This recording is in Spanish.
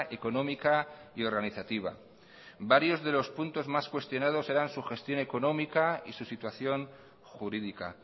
económica y organizativa varios de los puntos más cuestionados eran su gestión económica y su situación jurídica